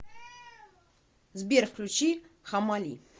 сбер включи хамали